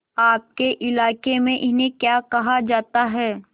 आपके इलाके में इन्हें क्या कहा जाता है